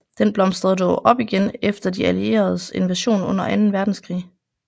Den blomstrede dog op igen efter de allieredes invasion under anden verdenskrig